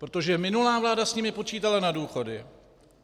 Protože minulá vláda s nimi počítala na důchody...